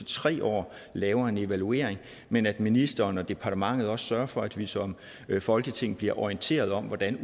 tre år laver en evaluering men at ministeren og departementet også sørger for at vi som folketing bliver orienteret om hvordan